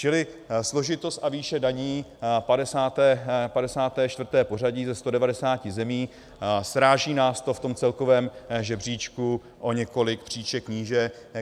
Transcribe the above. Čili složitost a výše daní 54. pořadí ze 190 zemí, sráží nás to v tom celkovém žebříčku o několik příček níže.